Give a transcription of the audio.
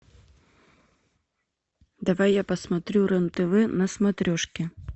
давай я посмотрю рен тв на смотрешке